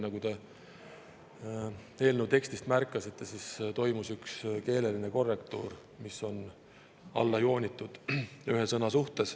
Nagu te eelnõu tekstist märkasite, toimus ühe sõna keeleline korrektuur, see on alla joonitud.